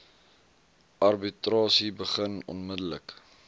arbitrasie begin onmiddellik